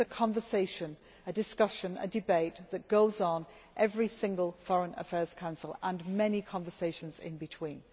This is a conversation, a discussion, a debate that goes on in every single Foreign Affairs Council and many conversations in between.